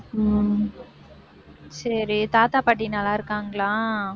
உம் சரி தாத்தா பாட்டி நல்லா இருக்காங்களா